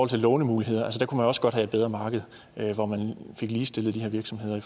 til lånemuligheder der kunne man også godt have et bedre marked hvor man fik ligestillet de her virksomheder i